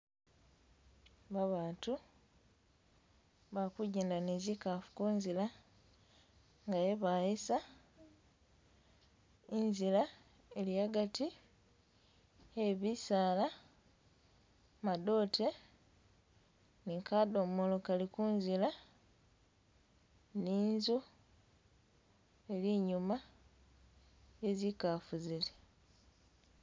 Babantu balikhugyenda ni nzikafu kunzila ngakhebayisa inzila ili agati ebisala, madote ni'kadomolo Kali kunzila ninzu ili inyuma ezikafu nzili